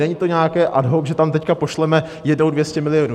Není to nějaké ad hoc, že tam teď pošleme jednou 200 milionů.